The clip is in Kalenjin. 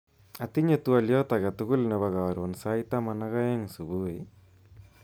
Atinye twoliot aketugul nebo karon sait taman ak aeng subui?